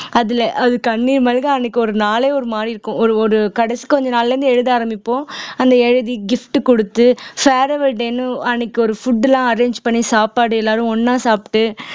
அதுல அது கண்ணீர் மல்க அன்னைக்கு ஒரு நாளே ஒரு மாதிரி இருக்கும் ஒரு ஒரு கடைசி கொஞ்ச நாள்ல இருந்து எழுத ஆரம்பிப்போம் அந்த எழுதி gift குடுத்து farewell day ன்னு அன்னைக்கு ஒரு food லாம் arrange பண்ணி சாப்பாடு எல்லாரும் ஒண்ணா சாப்பிட்டு